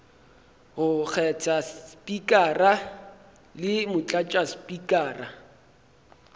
go kgetha spikara le motlatšaspikara